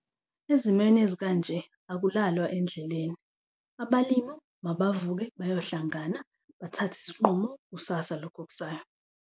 Ezimeni ezikanje akulalwa endleleni abalimu mabavuke bayohlangana bathathe isinqumo kusasa, lokhu okusayo.